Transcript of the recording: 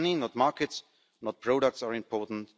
Not money, markets or products are important